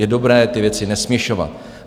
Je dobré ty věci nesměšovat.